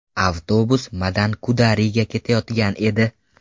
Avtobus Madankudariga ketayotgan edi.